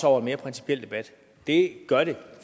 over en mere principiel debat det gør det